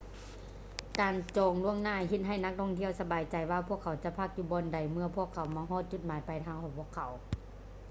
ການຈອງລ່ວງໜ້າເຮັດໃຫ້ນັກທ່ອງທ່ຽວສະບາຍໃຈວ່າພວກເຂົາຈະພັກຢູ່ບ່ອນໃດໜຶ່ງເມື່ອພວກເຂົາມາຮອດຈຸດໝາຍປາຍທາງຂອງພວກເຂົາ